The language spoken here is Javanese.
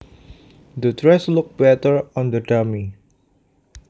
The dress looked better on the dummy